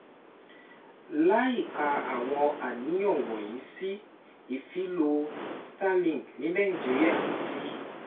Láìka àwọn àníyàn wọ̀nyí sí, ìfilọ Starlink ní Nàìjíríà ti